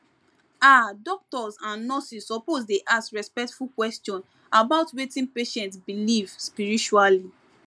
ah doctors and nurses suppose dey ask respectful question about wetin patient believe spiritually